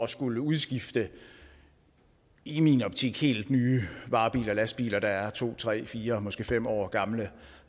skulle udskifte i min optik helt nye varebiler og lastbiler der er to tre fire måske fem år gamle